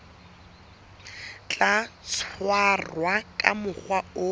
tla tshwarwa ka mokgwa o